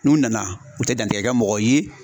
N'u nana u tɛ dantigɛli kɛ mɔgɔ ye